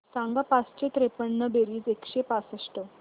सांग पाचशे त्रेपन्न बेरीज एकशे पासष्ट